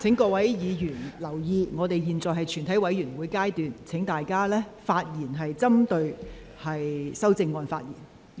請委員留意，本會已進入全體委員會的審議程序，請委員針對修正案發言。